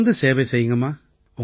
தொடர்ந்து சேவை செய்யுங்கம்மா